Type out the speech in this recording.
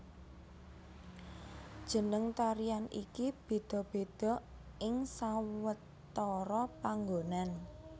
Jeneng tarian iki béda béda ing sawetara panggonan